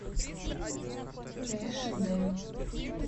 эш дэ